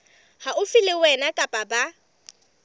haufi le wena kapa ba